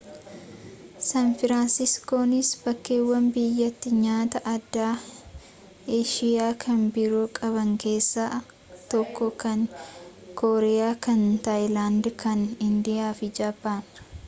san firaansiiskoonis bakkeewwan biyyattii nyaata-aadaa eeshiyaa kan biroo qaban keessaa tokko kan kooriyaa kan taayilaand kan indiyaa fi jaapaan